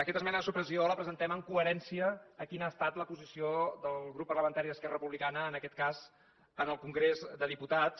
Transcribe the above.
aquesta esmena de supressió la presentem en coherència amb quina ha estat la posició del grup parlamentari d’esquerra republicana en aquest cas en el congrés dels diputats